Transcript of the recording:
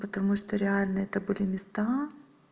потому что реально это были места